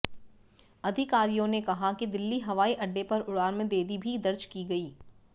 अधिकारियों ने कहा कि दिल्ली हवाई अड्डे पर उड़ान में देरी भी दर्ज की गई